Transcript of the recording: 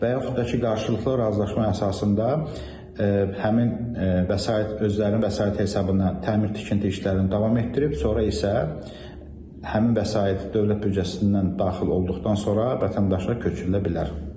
və yaxud da ki, qarşılıqlı razılaşma əsasında həmin vəsait özlərinin vəsaiti hesabına təmir tikinti işlərini davam etdirib, sonra isə həmin vəsait dövlət büdcəsindən daxil olduqdan sonra vətəndaşa köçürülə bilər.